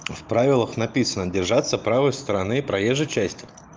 в правилах написано держаться правой стороны проезжей части